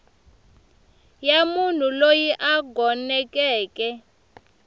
ya munhu loyi a gonekeke